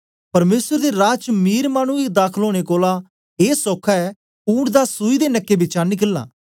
परमेसर दे राज च मीर मानुऐ गी दाखल ओनें कोलां ए सौखा ऐ ऊंट दा सूई दे नके बिचें निकलना